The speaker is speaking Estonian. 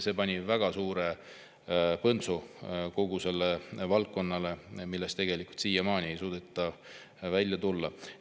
See pani kogu sellele valdkonnale väga suure põntsu, millest siiamaani ei suudeta välja tulla.